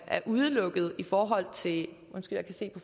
er udelukket i forhold se